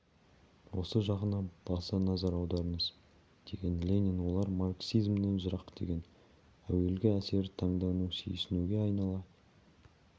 осы жағына баса назар аударыңыз деген ленин олар марксизмнен жырақ деген әуелгі әсері таңдану сүйсінуге айнала